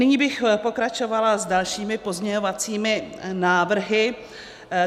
Nyní bych pokračovala s dalšími pozměňovacími návrhy.